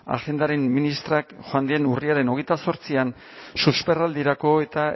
agendaren ministroak joan den urriaren hogeita zortzian susperraldirako eta